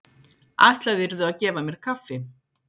Ætlaðirðu að gefa mér kaffi?